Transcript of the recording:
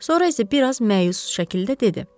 Sonra isə biraz məyus şəkildə dedi.